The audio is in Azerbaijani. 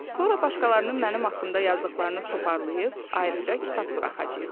Sonra başqalarının mənim haqqımda yazdıqlarını toparlayıb, ayrıca kitab buraxacaq.